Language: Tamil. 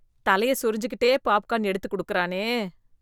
தலைய சொறிஞ்சுக்கிட்டே பாப்கான் எடுத்துக் குடுக்கிறானே.